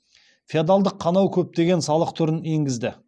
феодалдық қанау көптеген салық түрін енгізді